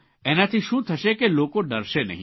એનાથી શું થશે કે લોકો ડરશે નહીં